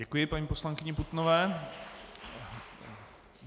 Děkuji paní poslankyni Putnové.